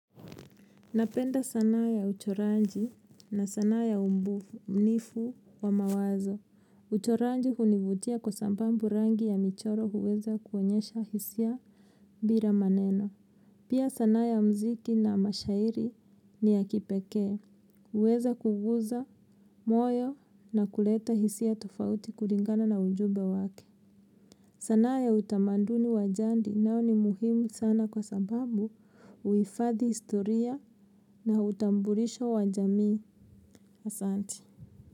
Napenda sanaa ya uchoranji na sanaa ya umbunifu wa mawazo. Uchoranji hunivutia kwa sambambu rangi ya michoro huweza kuonyesha hisia bira maneno. Pia sanaa ya mziki na mashairi ni ya kipekee. Huweza kuguza moyo na kuleta hisia tofauti kuringana na ujube wake. Sanaa ya utamanduni wa jandi nao ni muhimu sana kwa sababu uifadhi historia na utambulisho wa jamii asanti.